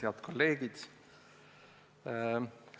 Head kolleegid!